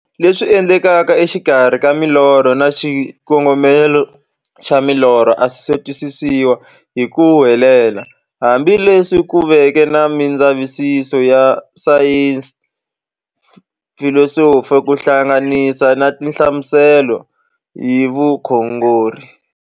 Leswi endlekaka e xikarhi ka milorho na xikongomelo xa milorho a swisi twisisiwa hi ku helela, hambi leswi ku veke na mindzavisiso ya sayensi, filosofi ku hlanganisa na tinhlamuselo hi vukhongori.